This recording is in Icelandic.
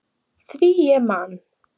Því ég man!